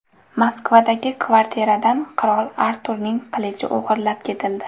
Moskvadagi kvartiradan qirol Arturning qilichi o‘g‘irlab ketildi.